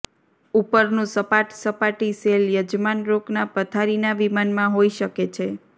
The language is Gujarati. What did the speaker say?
ઉપરનું સપાટ સપાટી શેલ યજમાન રોકના પથારીના વિમાનમાં હોઈ શકે છે